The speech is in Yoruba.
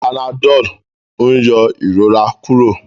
Panadol n yọ ìrora Kúrò